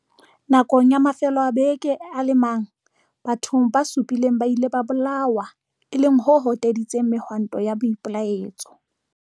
Nakong ya mafelo a beke a le mang, batho ba supileng ba ile ba bolawa, e leng ho hoteditseng mehwanto ya boipelaetso.